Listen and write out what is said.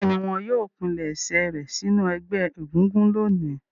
Bẹ́ẹ̀ni, wọn yóò pilẹ̀sẹ̀ rẹ̀ sínú ẹgbẹ́ egúngún lónìí.